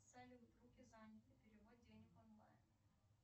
салют руки заняты перевод денег онлайн